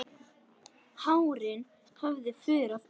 Hárin höfðu fuðrað upp.